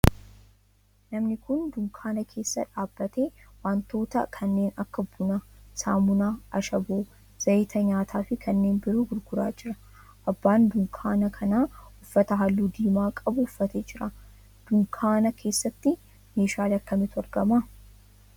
Namni kun dunkaana keessa dhaabbatee wantoota kanneen akka buna, saamunaa, ashaboo, zayita nyaataa fi kanneen biroo gurguraa jira. Abbaan dunkaana kanaa uffata halluu diimaa qabu uffatee jira. Dunkaana keessatti meeshaalee akkamiitu argama?